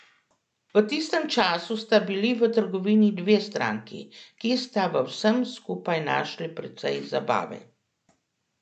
V tistem času sta bili v trgovini dve stranki, ki sta v vsem skupaj našli precej zabave.